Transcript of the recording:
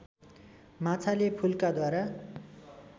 माछाले फुल्काद्वारा